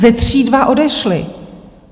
Ze tří dva odešli.